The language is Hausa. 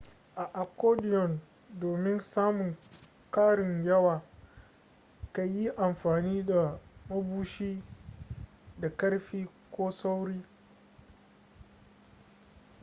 a accordion domin samun karin yawa ka yi amfani da mabushi da ƙarfi ko sauri